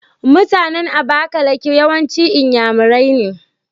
MutAnan abakaliki yawanci inyamurai ne